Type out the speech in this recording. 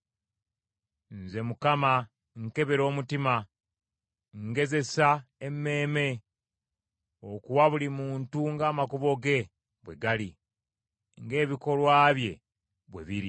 “Nze Mukama nkebera omutima, ngezesa emmeeme, okuwa buli muntu ng’amakubo ge bwe gali, ng’ebikolwa bye bwe biri.”